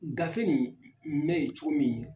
Gafe ni bɛ ye cogo min